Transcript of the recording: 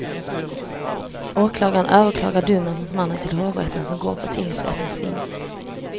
Åklagaren överklagar domen mot mannen till hovrätten, som går på tingsrättens linje.